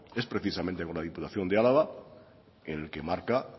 es precisamente con la diputación de álava el que marca